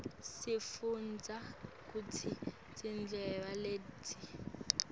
sifunbza kutsi tiveladhi